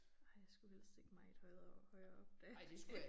Ej jeg skulle helst ikke meget højere højere op da